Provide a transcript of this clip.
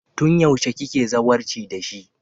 Tun yaushe kike zawarci da shi?